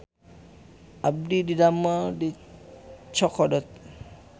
Abdi didamel di Chokodot